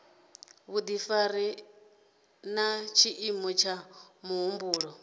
vhudifari na tshiimo tsha muhumbulo